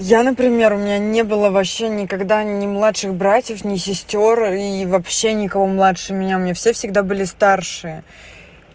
я например у меня не было вообще никогда не младших братьев ни сестёр и вообще никого младше меня мне все всегда были старшие